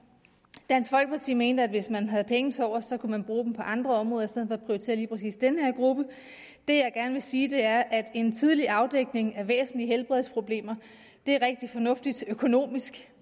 dansk folkeparti mente at hvis man havde penge tilovers kunne man bruge dem på andre områder i stedet for at prioritere lige præcis den her gruppe det jeg gerne vil sige er at en tidlig afdækning af væsentlige helbredsproblemer er rigtig fornuftigt økonomisk